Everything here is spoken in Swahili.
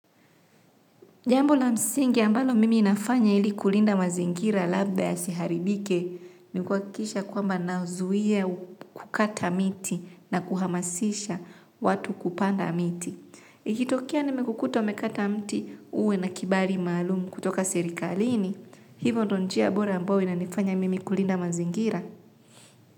Jambo la msingi ambalo mimi nafanya ili kulinda mazingira labda yasi haribike ni kuhakikisha kwamba nazuia kukata miti na kuhamasisha watu kupanda miti. Ikitokea nimekukuta umekata mti, uwe na kibali maalum kutoka serikalini hivo ndo njia bora linalofanya mimi kulinda mazingira.